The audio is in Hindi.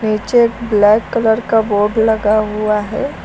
पीछे ब्लैक कलर का बोर्ड लगा हुआ है।